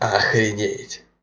охренеть